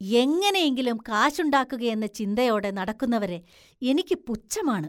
എങ്ങനെയെങ്കിലും കാശുണ്ടാക്കുകയെന്ന ചിന്തയോടെ നടക്കുന്നവരെ എനിക്ക് പുച്ഛമാണ്.